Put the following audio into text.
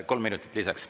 Kolm minutit lisaks.